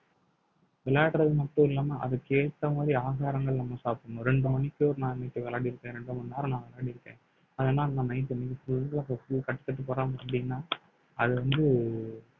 விளையாடுறது மட்டும் இல்லாம அதுக்கு ஏத்த மாதிரி ஆகாரங்கள் நம்ம சாப்பிடணும் ரெண்டு மணிக்கு ஒரு நாளைக்கு விளையாடியிருக்கேன் ரெண்டு மணி நேரம் நான் விளையாடியிருக்கேன் அதனால அப்படினா அது வந்து